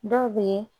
Dɔw be ye